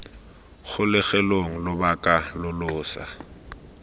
kgolegelong lobaka lo lo sa